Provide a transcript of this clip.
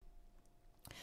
TV 2